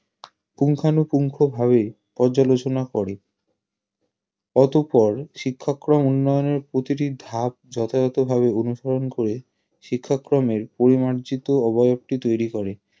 পুঙ্খানুপুঙ্খভাবে পর্যালোচনা করে অতঃপর শিক্ষাক্রম উন্নয়নের প্রতিটি ধাপ যথাযথভাবে অনুসরণ করে শিক্ষাক্রমের পরিমার্জিত অবয়বটি তৈরি করে